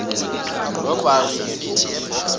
robbery unit eboksburg